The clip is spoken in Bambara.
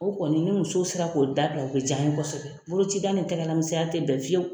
O kɔni ni musow sera k'o da bila u bɛ j'an ye kosɛbɛ bulucida ni tɛgɛlamisɛnya tɛ bɛn fiyewu.